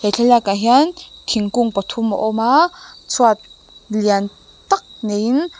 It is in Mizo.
thlalakah hian thingkung pathum a awm a chhuat lian tak neiin--